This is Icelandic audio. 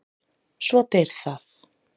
Svo deyr það.